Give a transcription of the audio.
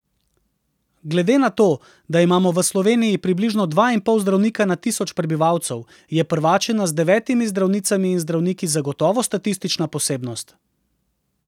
Glede na to, da imamo v Sloveniji približno dva in pol zdravnika na tisoč prebivalcev, je Prvačina z devetimi zdravnicami in zdravniki zagotovo statistična posebnost.